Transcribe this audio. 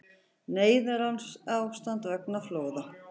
Neyðarástand vegna flóða